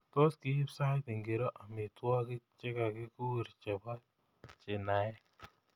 Tos kiiip sait ngiro amitwogik chegakuur chebo chinaek